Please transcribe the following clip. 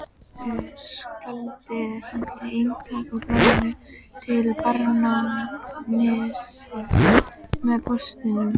Skáldið sendi eintak af blaðinu til barónsins með póstinum.